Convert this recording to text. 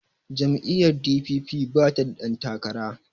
jam'iyyar d.p.p bata da ɗantakara